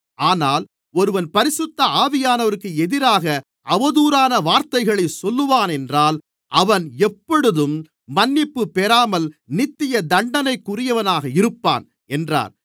ஆனால் ஒருவன் பரிசுத்த ஆவியானவருக்கு எதிராக அவதூறான வார்த்தைகளைச் சொல்வானென்றால் அவன் எப்பொழுதும் மன்னிப்பு பெறாமல் நித்திய தண்டனைக்குரியவனாக இருப்பான் என்றார்